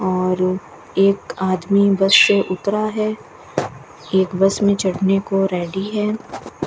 और एक आदमी बस से उतरा है एक बस में चढ़ने को रेडी है।